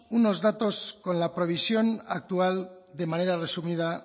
unos datos con la previsión actual de manera resumida